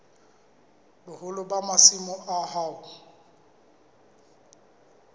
boholo ba masimo a hao